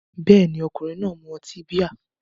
Bẹ́ẹ̀ni, ọkùnrin náà mu ọtí bíà